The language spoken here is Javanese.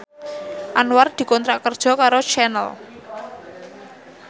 Anwar dikontrak kerja karo Channel